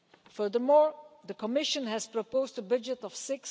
Furthermore, the Commission has proposed a budget of EUR